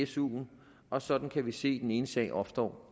suen og sådan kan vi se den ene sag opstå